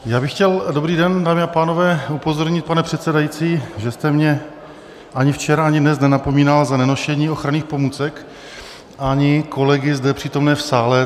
Já bych chtěl - dobrý den, dámy a pánové - upozornit, pane předsedající, že jste mě ani včera ani dnes nenapomínal za nenošení ochranných pomůcek, ani kolegy zde přítomné v sále.